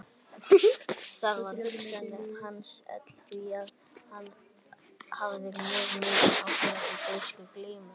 Þar var hugsun hans öll því að hann hafði mjög mikinn áhuga á grískri glímu.